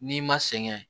N'i ma sɛgɛn